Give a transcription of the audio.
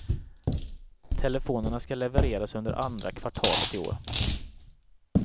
Telefonerna ska levereras under andra kvartalet i år.